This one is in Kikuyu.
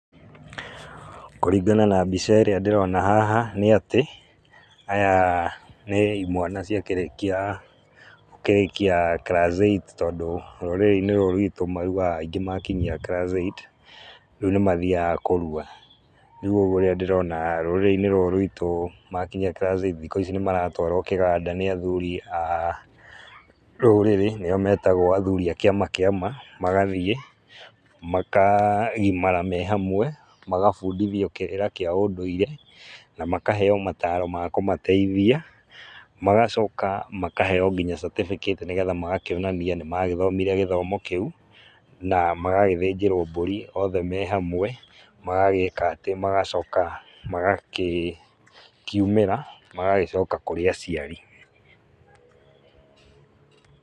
Kũringana na mbica ĩrĩa ndĩrona haha nĩ atĩ aya nĩ imwana cia kĩrĩkia gũkĩrĩkia class eight tondũ rũrĩrĩinĩ rũrũ ruitũ maruaga aingĩ makĩnyia class eight rĩu nĩ mathiaga kũrua, rĩu ũguo rĩrĩa ndĩrona rũrĩinĩ rũrũ ruitũ makinyia class eight nĩ maratwarwo kĩganda nĩ athuri a rũrĩrĩ nĩ o metagwo athuri a kĩama kĩama, magathiĩ makagimara me hamwe magabundithio kĩrĩra kĩa ũndũire na makaheo mataro ma kũmateithia, magacoka makaheo nginya certificate nĩgetha magakĩonania nĩ magĩthomire gĩthomo kĩu na magagĩthĩnjĩrwo mbũri othe me hamwe magagĩka atĩ magacoka magakĩ kiumĩra magagĩcoka kũrĩ aciari.